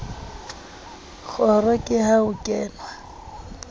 kgoro ke ha ho kenwa